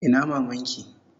Ina maman ki?